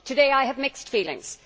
Today I have mixed feelings.